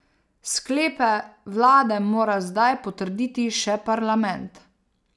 Sklepe vlade mora zdaj potrditi še parlament.